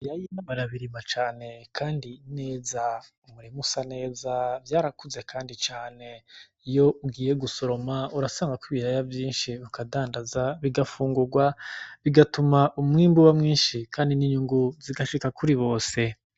Ibiraya barabirima cane kandi neza, umurima usa neza vyarakuze kandi cane, iyo ugiye gusoroma urasangako ibiraya vyinshi, ukadandaza bigafungurwa, bigatuma umwimbu uba mwinshi kandi n'inyungu zigashika kuri bose.